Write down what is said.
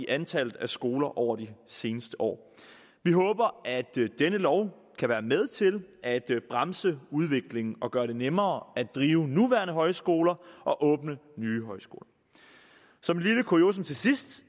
antallet af skoler over de seneste år vi håber at denne lov kan være med til at bremse udviklingen og gøre det nemmere at drive nuværende højskoler og åbne nye højskoler som et lille kuriosum til sidst